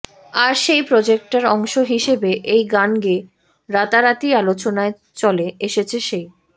আর সেই প্রোজেক্টের অংশ হিসেবে এই গান গেয়ে রাতারাতি আলোচনায় চলে এসেছে সেই